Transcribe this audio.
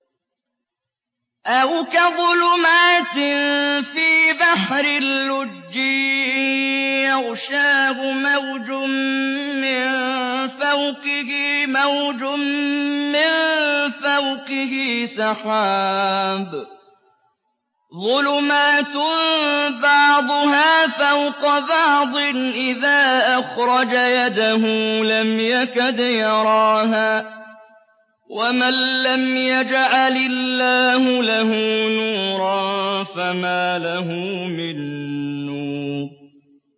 أَوْ كَظُلُمَاتٍ فِي بَحْرٍ لُّجِّيٍّ يَغْشَاهُ مَوْجٌ مِّن فَوْقِهِ مَوْجٌ مِّن فَوْقِهِ سَحَابٌ ۚ ظُلُمَاتٌ بَعْضُهَا فَوْقَ بَعْضٍ إِذَا أَخْرَجَ يَدَهُ لَمْ يَكَدْ يَرَاهَا ۗ وَمَن لَّمْ يَجْعَلِ اللَّهُ لَهُ نُورًا فَمَا لَهُ مِن نُّورٍ